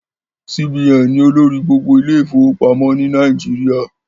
CBN ni olórí gbogbo ilé ìfọwọ́pamọ́ ni Nàìjíríà